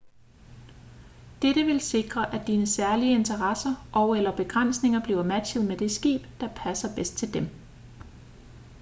dette vil sikre at dine særlige interesser og/eller begrænsninger bliver matchet med det skib der passer bedst til dem